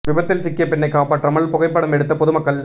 விபத்தில் சிக்கிய பெண்ணை காப்பாற்றாமல் புகைப்படம் எடுத்த பொது மக்கள்